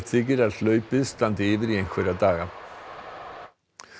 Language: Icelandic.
þykir að hlaupið standi yfir í einhverja daga